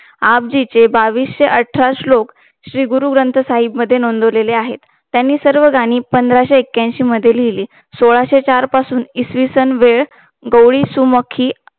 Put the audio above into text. आपाजीचे ब्बाविषे अठरा श्लोक श्री गुरुग्रंथ साहेब मध्ये नोंदवलेले आहे त्याने सर्व गाणी पंधराशे एक्यांषि मध्ये लिहली सोळाशे चार पासून इसवीसन वेळ गोवली सुमुखी